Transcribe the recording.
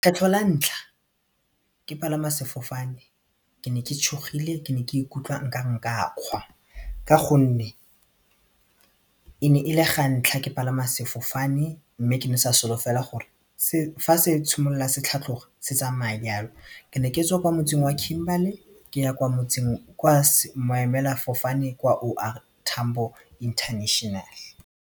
Kgetlho la ntlha ke palama sefofane ke ne ke tšhogile ke ne ke ikutlwa nkare nka kgwa ka gonne e ne e le ga ntlha ke palama sefofane mme ke ne sa sa solofela gore fa se tshimolola se tlhatloga se tsamaya di jalo ke ne ke tswa ko motseng wa Kimberley ke ya kwa motseng kwa maemelafofane kwa O R Tambo international.